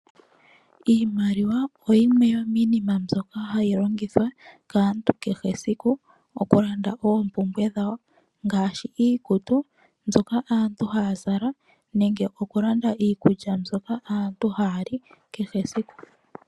Iimaliwa oyo yimwe yomiinima mbyoka hayi longithwa kaantu kehe esiku okulanda oompumbwe dhawo ngaashi iikutu mbyoka aantu haya zala nenge okulanda iikulya mbyoka aantu haya li kehe esiku.